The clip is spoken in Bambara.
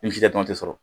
Ni sida dɔrɔn tɛ sɔrɔ